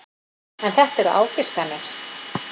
En þetta eru ágiskanir.